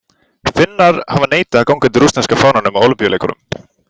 Finnar hafa neitað að ganga undir rússneska fánanum á ólympíuleikunum.